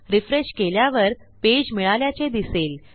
refresh केल्यावर page मिळाल्याचे दिसेल